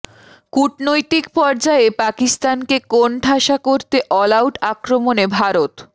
কূটনৈতিক পর্যায়ে পাকিস্তানকে কোণঠাসা করতে অল আউট আক্রমণে ভারত